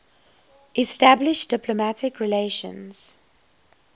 establish diplomatic relations